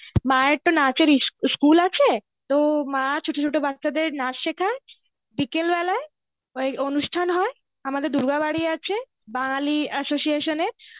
মায়ের তো নাচের ইস~ ইস্কুল আছে তো মা ছোট ছোট বাছাদের নাচ শেখায় বিকেলবেলায় ওই অনুষ্ঠান হয় আমাদের দূর্গা বাড়ি আছে বাঙালি association এর